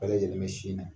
Bɛɛ lajɛlen bɛ sin na